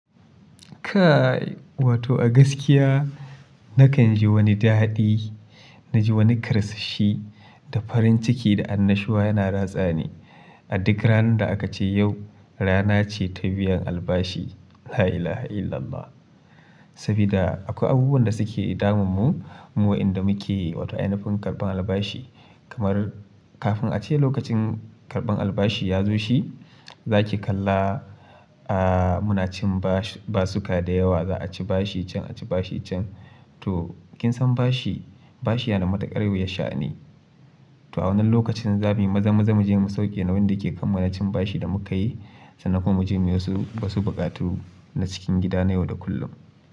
Kai wato a gaskiya nakan ji wani daɗi, na ji wani karsashi da farin ciki da annashuwa yana ratsa ni. Aduk ranar da aka ce yau rana ce ta biyan albashi. La ilaha illallah. Sabida akwai abubuwan da suke damun mu, mu wa inda muke wato ainafin karɓan albashi. Kamar kafin a ce lokacin karɓan albashi ya zo shi, za ki kalla, ah muna cin basuka da yawa. Za a ci bashi can, a ci bashi can. To kin san bashi, bashi yana da matuƙar wuyar sha'ani to a wannan lokacin za muyi maza-maza mu je mu sauke nauyin dake kanmu na cin bashi da muka yi, sannan kuma mu je mu yi wasu buƙatu na cikin gida na yau da kullum.